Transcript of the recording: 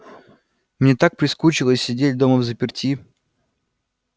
мне так прискучило сидеть дома взаперти